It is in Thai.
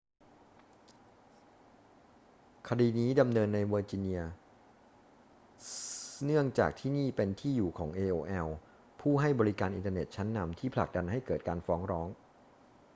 คดีนี้ดำเนินในเวอร์จิเนียเนื่องจากที่นี่เป็นที่อยู่ของ aol ผู้ให้บริการอินเทอร์เน็ตชั้นนำที่ผลักดันให้เกิดการฟ้องร้อง